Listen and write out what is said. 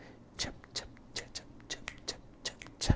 Tcham, tcham, tcham, tcham, tcham, tcham, tcham, tcham.